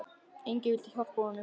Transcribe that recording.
Enginn vildi hjálpa honum.